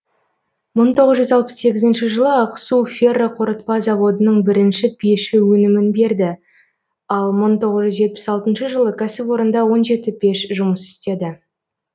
мың тоғыз жүз алпыс сегізінші жылы ақсу ферроқорытпа заводының бірінші пеші өнімін берді ал мың тоғы жүз жетпіс алтыншы жылы кәсіпорында он жеті пеш жұмыс істеді